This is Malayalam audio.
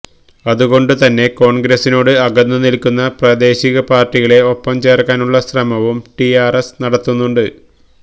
അതുകൊണ്ടു തന്നെ കോണ്ഗ്രസിനോട് അകന്നു നില്ക്കുന്ന പ്രാദേശിക പാര്ട്ടികളെ ഒപ്പം ചേര്ക്കാനുള്ള ശ്രമവും ടിആര്എസ് നടത്തുന്നുണ്ട്